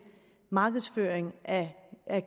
markedsføring af